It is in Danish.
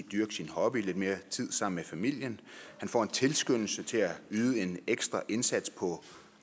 dyrke sin hobby lidt mere tid sammen med familien han får en tilskyndelse til at yde en ekstra indsats på